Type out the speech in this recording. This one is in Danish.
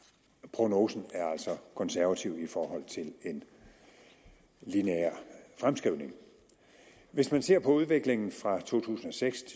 prognosen er altså konservativ i forhold til en lineær fremskrivning hvis man ser på udviklingen fra to tusind og seks